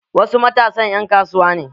Wasu matasan 'yan kasuwa ne.